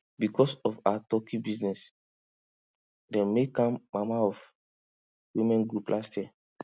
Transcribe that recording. because of her turkey business dem make am mama of women group last year